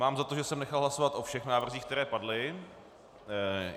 Mám za to, že jsem nechal hlasovat o všech návrzích, které padly.